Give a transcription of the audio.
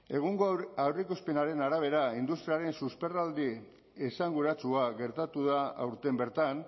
egungo aurreikuspenaren arabera industriaren susperraldi esanguratsua gertatu da aurten bertan